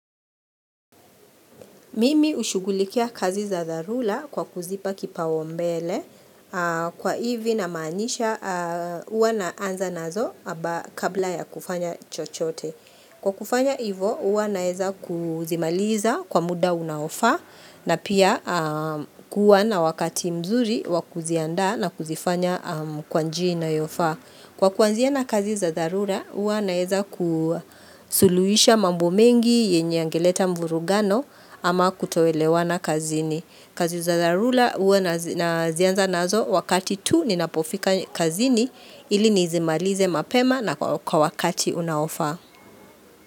Mimi ushugulikia kazi za zarula kwa kuzipa kipaombele kwa hivi namanisha uwa naanza nazo aba kabla ya kufanya chochote. Kwa kufanya hivo uwa naeza kuzimaliza kwa muda unaofa na pia kuwa na wakati mzuri wa kujianda na kuzifanya kwa njia inayofa. Kwa kuanzia na kazi za dharura, uwa naeza kusuluisha mambo mengi yenye angeleta mvurugano ama kutoelewa na kazini. Kazi za dharura, uwa nazianza nazo wakati tu ninapofika kazini ili nizimalize mapema na kwa wakati unaofa.